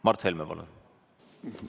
Mart Helme, palun!